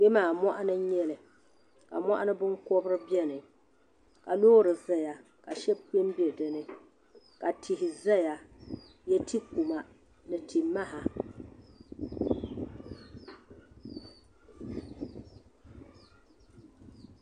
Kpɛmaa moɣuni n nyɛli ka moɣuni binkobri biɛni ka loori zaya ka Sheba kpɛ m be dini ka tihi zaya n nyɛ tikuma ni ti maha.